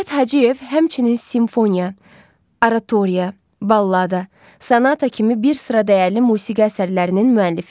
Cövdət Hacıyev həmçinin simfoniya, aratoriya, ballada, sanata kimi bir sıra dəyərli musiqi əsərlərinin müəllifidir.